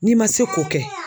N'i man se k'o kɛ